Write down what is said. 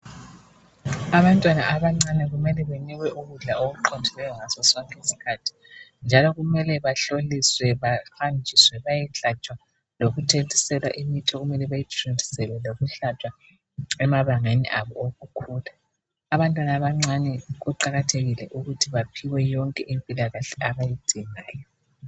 Abantwana abancane kumele benikwe ukudla okuqondileyo ngasosonke isikhathi njalo kumele bahloliswe bahanjise bayehlatshwa lokuthontiselwa imithi okumele bayithontiselwe lokuhlatshwa emabangeni abo wokukhula, abantwana abancane kuqakathekile ukuthi baphiwe yonke impilakahle abayidingayo